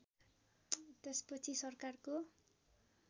त्यस पछि सरकारको